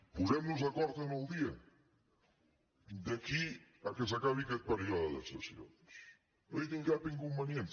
posem·nos d’acord en el dia d’aquí que s’acabi aquest període de sessions no hi tinc cap inconvenient